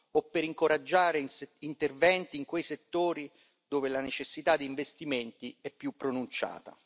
o per incoraggiare interventi in quei settori dove la necessità di investimenti è più pronunciata.